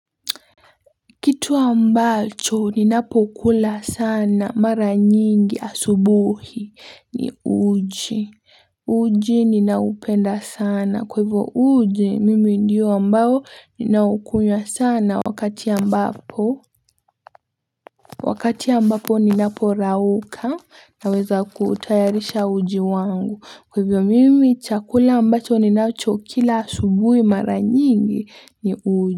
Kitu ambacho ni ninapokula sana mara nyingi asubuhi ni uji, uji ninaupenda sana kwa hivyo uji mimi ndiyo ambayo ninaukunywa sana wakati ambapo wakati ambapo ninapo rauka naweza kutayarisha uji wangu kwa hivyo mimi chakula ambacho ninacho kila asubuhi mara nyingi ni uji.